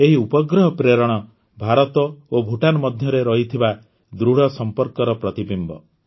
ଏହି ଉପଗ୍ରହ ପ୍ରେରଣ ଭାରତ ଓ ଭୁଟାନ ମଧ୍ୟରେ ରହିଥିବା ଦୃଢ଼ ସମ୍ପର୍କର ପ୍ରତିବିମ୍ବ